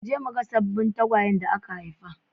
Mu je mu ga sabbin tagwayen da aka haifa.